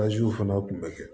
fana kun bɛ kɛ